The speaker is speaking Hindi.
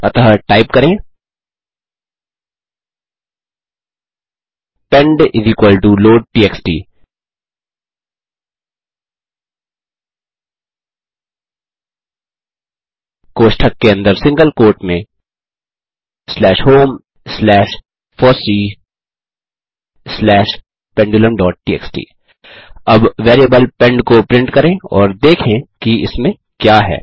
अतः टाइप करें पेंड लोडटीएक्सटी कोष्ठक के अंदर सिंगल कोट में slash home slash FOSSEE slash pendulumटीएक्सटी अब वेरिएबल पेंड को प्रिंट करें और देखें कि इसमें क्या है